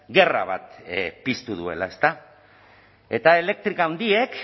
gerra bat piztu duela eta elektrika handiek